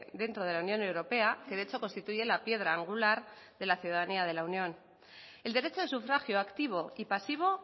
dentro de la unión europea que de hecho constituye la piedra angular de la ciudadanía de la unión el derecho de sufragio activo y pasivo